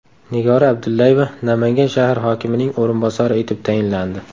Nigora Abdullayeva Namangan shahar hokimining o‘rinbosari etib tayinlandi.